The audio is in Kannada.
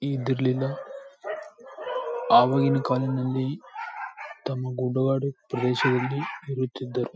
ಇದರ್ಲಿಂದ ಅವಾಗಿನ ಕಾಲದಲ್ಲಿ ತಮ್ಮ ಗುಡ್ಡಗಾಡು ಪ್ರದೇಶದಲ್ಲಿ ಇರುತ್ತಿದ್ದರು.